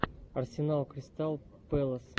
арсенал кристал пэлас